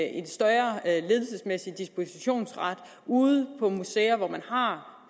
en større ledelsesmæssig dispositionsret ude på museerne hvor man har